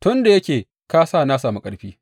tun da yake ka sa na sami ƙarfi.